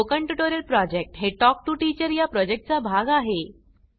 spoken tutorial project हे talk to teacher या प्रॉजेक्टचा चा भाग आहे